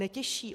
Netěší.